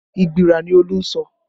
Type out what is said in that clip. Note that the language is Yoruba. Igbira ni Olú ń sọ